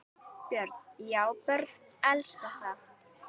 Björn: Já börnin elska það?